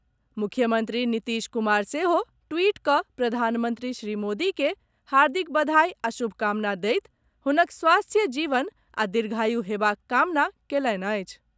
मुख्यमंत्री नीतीश कुमार सेहो ट्वीट कऽ प्रधानमंत्री श्री मोदी के हार्दिक बधाई आ शुभकामना दैत हुनक स्वस्थ्य जीवन आ दीर्घयु हेबाक कामना कयलनि अछि।